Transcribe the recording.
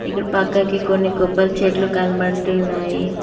పక్కకి కొన్ని కొబ్బరి చెట్లు కనబడుతున్నాయి.